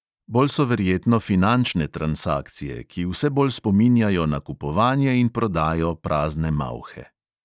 Bolj so verjetno finančne transakcije, ki vse bolj spominjajo na kupovanje in prodajo prazne malhe.